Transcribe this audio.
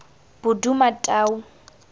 bodumatau